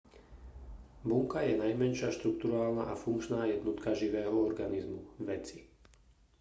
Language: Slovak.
bunka je najmenšia štrukturálna a funkčná jednotka živého organizmu veci